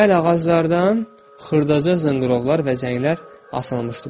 Bəli, ağaclardan xırdaca zınqırovlar və zənglər asılmışdı.